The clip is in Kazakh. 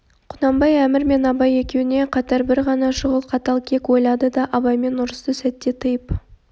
құнанбай әмір мен абай екеуіне қатар бір ғана шұғыл қатал кек ойлады да абаймен ұрысты сәтте тыйып